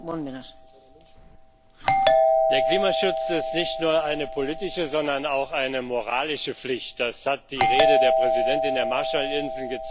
Frau Präsidentin! Der Klimaschutz ist nicht nur eine politische, sondern auch eine moralische Pflicht das hat die Rede der Präsidentin der Marshallinseln gezeigt.